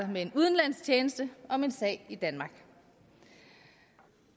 med en udenlandsk tjeneste om en sag i danmark